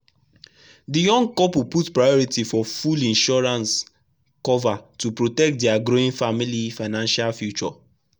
the young couple put priority for full insurance cover to protect their growing family financial future.